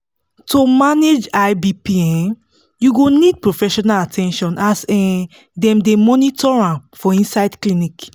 to manage high bp um you go need professional at ten tion as um dem dey monitor am for inside clinic